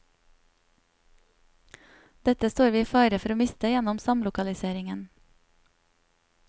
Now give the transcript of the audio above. Dette står vi i fare for å miste gjennom samlokaliseringen.